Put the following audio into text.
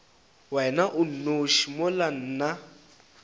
wena o nnoši mola nna